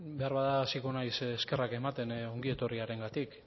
behar bada hasiko naiz eskerrak ematen ongietorriarengatik